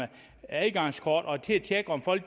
adgangskort og til at tjekke om folk